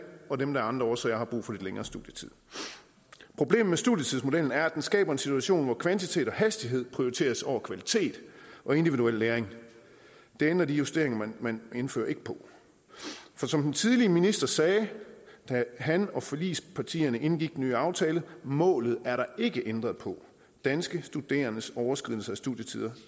og dem der af andre årsager har brug for lidt længere studietid problemet med studietidsmodellen er at den skaber en situation hvor kvantitet og hastighed prioriteres over kvalitet og individuel læring det ændrer de justeringer man indfører ikke på for som den tidligere minister sagde da han og forligspartierne indgik den nye aftale målet er der ikke ændret på danske studerendes overskridelse af studietiden